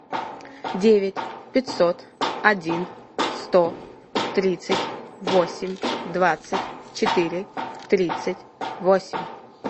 девять пятьсот один сто тридцать восемь двадцать четыре тридцать восемь